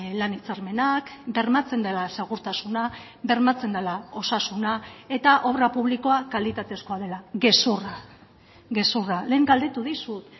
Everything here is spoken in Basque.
lan hitzarmenak bermatzen dela segurtasuna bermatzen dela osasuna eta obra publikoa kalitatezkoa dela gezurra gezurra lehen galdetu dizut